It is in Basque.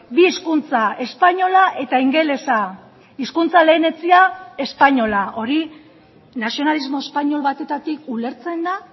bi hizkuntza espainola eta ingelesa hizkuntza lehenetsia espainola hori nazionalismo espainol batetatik ulertzen da